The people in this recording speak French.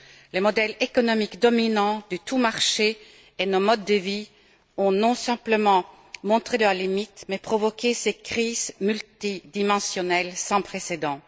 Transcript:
Le modèle économique dominant du tout marché et nos modes de vie n'ont pas simplement montré leurs limites, ils ont provoqué ces crises multidimensionnelles sans précédent.